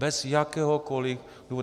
Bez jakéhokoli důvodu.